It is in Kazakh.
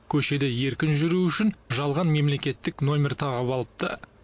көшеде еркін жүруі үшін жалған мемлекеттік нөмір тағып алыпты